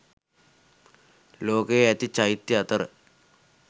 ලෝකයේ ඇති චෛත්‍ය අතර